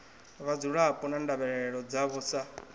vhadzulapo na ndavhelelo dzavho sa